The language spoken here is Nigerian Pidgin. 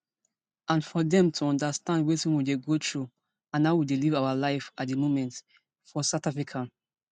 and for dem to understand wetin we dey go through and how we dey live our life here at di moment for south africa